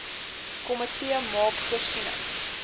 komitee maak voorsiening